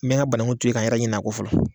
N mi n ka bananku to ye, ka n yɛrɛ ɲina kɔ fɔlɔ